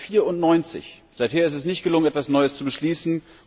1994. Seither ist es nicht gelungen, etwas Neues zu beschließen.